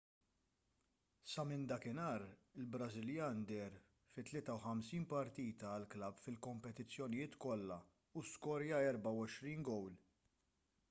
sa minn dakinhar il-brażiljan deher fi 53 partita għall-klabb fil-kompetizzjonijiet kollha u skorja 24 gowl